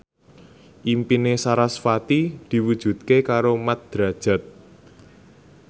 impine sarasvati diwujudke karo Mat Drajat